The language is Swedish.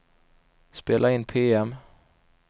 spela in PM